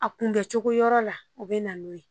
A kunbɛcogo yɔrɔ la o bɛ na n'o ye